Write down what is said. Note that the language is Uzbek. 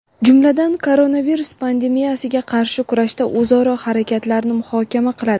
jumladan koronavirus pandemiyasiga qarshi kurashda o‘zaro harakatlarni muhokama qiladi.